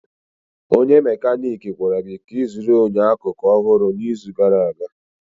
Onye mekaniiki gwara gị ka ịzụrụ enyo akụkụ ọhụrụ n'izu gara aga.